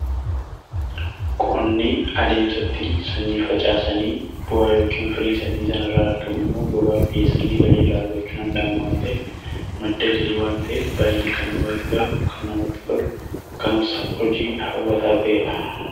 Qonni adeemsan ittiin sanyii facaasanii bu'aa yookiin firii sanyii sana irraa argamu immoo gabaaf dhiyeessuudhaan galii irraa argachuun ni danda'ama. Innis madda galii waan ta'eef baayyee kan nama gargaaruu fi namatti toluudha. Akkasumas hojii hawwataa ta'eedha.